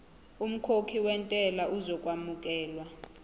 umkhokhi wentela uzokwamukelwa